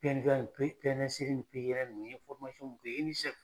n ye